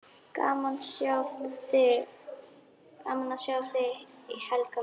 Gaman að sjá þig, Helga mín!